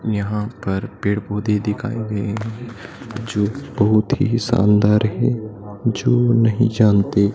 यहाँ पर पेड़-पौधे दिखाए गए हैं जो बहुत ही शानदार हैं जो नहीं जानते।